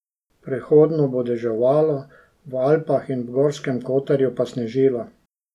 Prehodno bo deževalo, v Alpah in v Gorskem Kotarju pa snežilo.